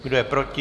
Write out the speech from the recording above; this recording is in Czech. Kdo je proti?